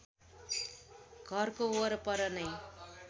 घरको वरपर नै